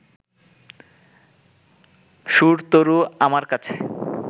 সুরতরু আমার কাছে